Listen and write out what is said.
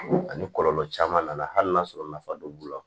Ani kɔlɔlɔ caman nana hali n'a sɔrɔ nafa don b'u la